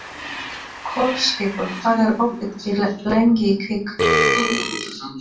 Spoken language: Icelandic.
Kolskeggur, hvað er opið lengi í Kvikk?